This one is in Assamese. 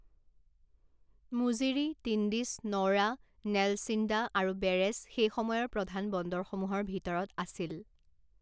মুজিৰী, টিণ্ডিছ, নউৰা, নেলছিন্দা আৰু বেৰেচ সেই সময়ৰ প্ৰধান বন্দৰসমূহৰ ভিতৰত আছিল।